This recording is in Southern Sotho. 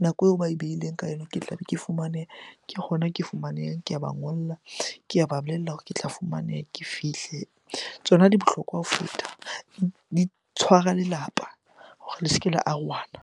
nako eo ba e behileng ka yona ke tlabe ke fumaneha, ke hona ke fumanehang. Ke a ba ngolla, ke a ba bolella hore ke tla fumaneha ke fihle. Tsona di bohlokwa ho feta, di tshwara lelapa hore le se ke la arohana.